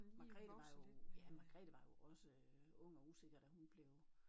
Margrethe var jo ja Margrethe var jo også ung og usikker da hun blev